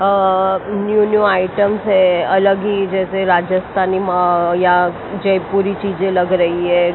New new items है अलग ही जैसे राजस्थानी या जयपुरी चीजें लग रही है।